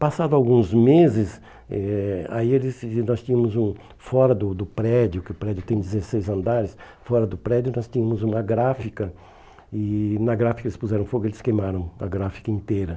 Passado alguns meses, eh aí eles nós tínhamos um fora do do prédio, que o prédio tem dezesseis andares, fora do prédio nós tínhamos uma gráfica, e na gráfica eles puseram fogo e eles queimaram a gráfica inteira.